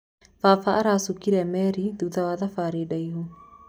Baba aracukire meri thutha wa thabarĩ ndaihu.